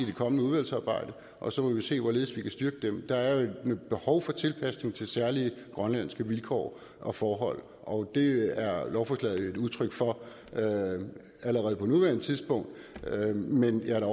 det kommende udvalgsarbejde og så må vi se hvorledes vi kan styrke dem der er et behov for tilpasning til særlige grønlandske vilkår og forhold og det er lovforslaget jo et udtryk for allerede på nuværende tidspunkt men jeg er da